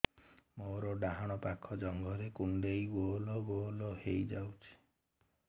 ମୋର ଡାହାଣ ପାଖ ଜଙ୍ଘରେ କୁଣ୍ଡେଇ ଗୋଲ ଗୋଲ ହେଇଯାଉଛି